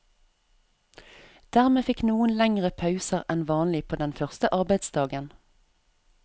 Dermed fikk noen lengre pauser enn vanlig på den første arbeidsdagen.